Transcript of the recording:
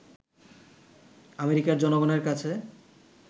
আমেরিকার জনগণের কাছে